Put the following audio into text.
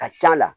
Ka c'a la